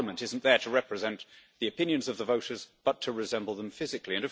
A parliament isn't there to represent the opinions of the voters, but to resemble them physically.